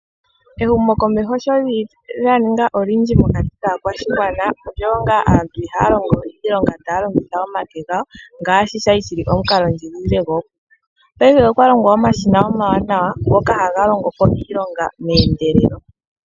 Ehumo komeho shampa lyaninga olindji mokati kaakwashigwana, aantu ihaya longo iilonga taya longitha omake gawo, ngasshi shali shili omukalo ndjigilile gookuku. Paife okwa longwa omashina omawanawa ngoka haga longo po iilonga mehendelelo.